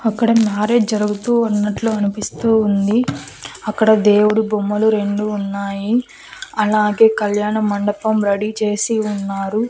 అక్కడ మ్యారేజ్ జరుగుతూవున్నట్లు అనిపిస్తూ ఉంది అక్కడ దేవుడు బొమ్మలు రెండు ఉన్నాయి అలాగే కళ్యాణమండపం రెడీ చేసి ఉన్నారు.